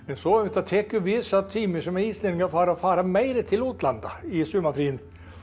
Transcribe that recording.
svo auðvitað tekur við sá tími sem Íslendingar fara að fara meira til útlanda í sumarfrí